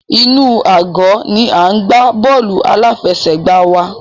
Inú àgọ́ ni à ń gbá bọ́ọ̀lù aláfẹsẹ̀gbá wa.